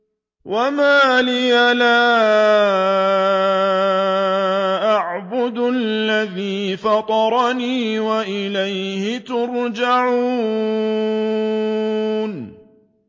وَمَا لِيَ لَا أَعْبُدُ الَّذِي فَطَرَنِي وَإِلَيْهِ تُرْجَعُونَ